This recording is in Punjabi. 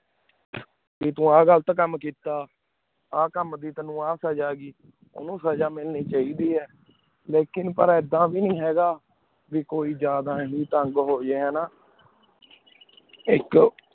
ਪੀ ਤੂੰ ਆਯ ਘਾਲਤ ਕਾਮ ਕੀਤਾ ਅਕਮ ਦੀ ਉਨੂ ਆ ਸਜ਼ਾ ਉਨੂ ਸਜ਼ਾ ਮਿਲਣੀ ਚੀ ਡੇਯ ਲੀਕਾਂ ਪਰ ਏਡਾ ਵੇ ਨੀ ਹੈ ਗਾ ਕੋਈ ਜਾਦਾ ਹੀ ਤੰਗ ਹੂ ਜੇ ਏਕ